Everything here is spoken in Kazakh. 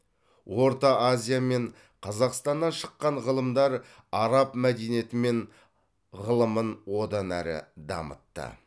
орта азия мен қазақстаннан шыққан ғылымдар араб мәдениеті мен ғылымын одан әрі дамытты